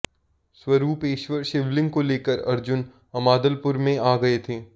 स्वरूपेश्वर शिवलिंग को लेकर अर्जुन अमादलपुर में आ गये थे